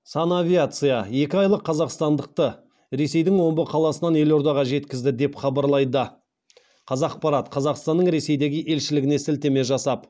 санавиация екі айлық қазақстандықты ресейдің омбы қаласынан елордаға жеткізді деп хабарлайды қазақпарат қазақстанның ресейдегі елшілігіне сілтеме жасап